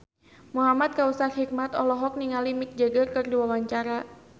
Muhamad Kautsar Hikmat olohok ningali Mick Jagger keur diwawancara